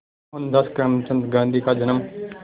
मोहनदास करमचंद गांधी का जन्म